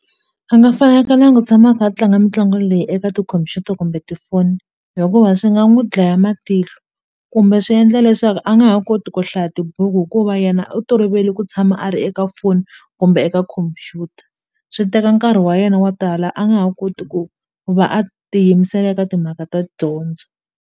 A nga fanekelanga u tshama kha a tlanga mitlangu leyi eka tikhompyuta kumbe tifoni hikuva swi nga n'wi dlaya matihlo kumbe swi endla leswaku a nga ha koti ku hlaya tibuku hikuva yena u tolovele ku tshama a ri eka foni kumbe eka khompyuta swi teka nkarhi wa yena wa tala a nga ha koti ku va a tiyimisela eka timhaka ta dyondzo.